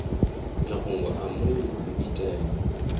mafhungo a muno u itela